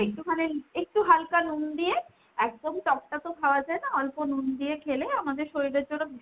একটুখানে, একটু হালকা নুন দিয়ে একদম টক টা তো খাওয়া যায় না, অল্প নুন দিয়ে খেলে আমাদের শরীরের জন্য ভীষণ,